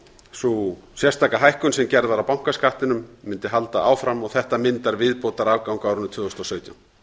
sú sérstaka hækkun sem gerð var á bankaskattinum mundi halda áfram og þetta myndar viðbótarafgang á árinu tvö þúsund og sautján